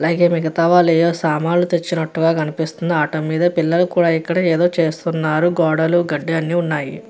అలాగే మిగతవారు ఏవో సామాన్లు తెచ్చినట్టుగా కనిపిస్తుంది ఆటో మీద. అలాగే పిల్లలు యేదో చేస్తున్నారు. గోడలు గడ్డి ఉన్నాయి .